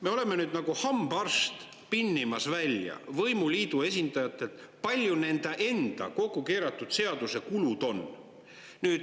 Me oleme nüüd nagu hambaarst pinnimas välja võimuliidu esindajatelt, palju nende enda kokku keeratud seaduse kulud on.